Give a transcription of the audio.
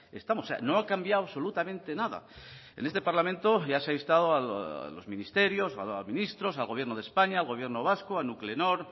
estamos no ha cambiado absolutamente nada en este parlamento ya se ha instado a los ministerios o a ministros al gobierno de españa al gobierno vasco a nuclenor